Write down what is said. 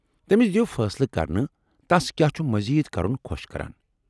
تمِس دِیو فٲصلہٕ کرنہٕ تس كیاہ چھُ مزید كرُن خوش كران۔